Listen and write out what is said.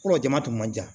Kolo jama tun ka jan